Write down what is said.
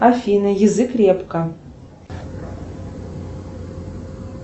афина язык репка